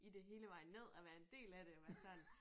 I det hele vejen ned og være en del af det og være sådan